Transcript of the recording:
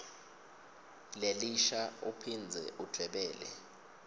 lelisha uphindze udvwebele